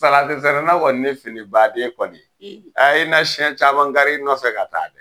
Salatisɛnɛna kɔni ni baaden kɔni, a i na siyɛn caman kari i nɔfɛ ka taa dɛ